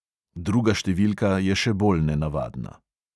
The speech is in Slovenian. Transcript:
Druga številka je še bolj nenavadna.